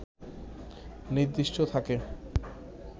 নির্দিষ্ট থাকে